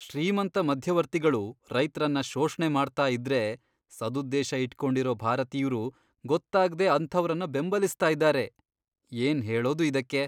ಶ್ರೀಮಂತ ಮಧ್ಯವರ್ತಿಗಳು ರೈತ್ರನ್ನ ಶೋಷ್ಣೆ ಮಾಡ್ತಾ ಇದ್ರೆ ಸದುದ್ದೇಶ ಇಟ್ಕೊಂಡಿರೋ ಭಾರತೀಯ್ರು ಗೊತ್ತಾಗ್ದೇ ಅಂಥವ್ರನ್ನ ಬೆಂಬಲಿಸ್ತಾ ಇದಾರೆ, ಏನ್ಹೇಳೋದು ಇದಕ್ಕೆ?!